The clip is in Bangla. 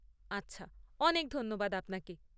আচ্ছা, অনেক ধন্যবাদ আপনাকে।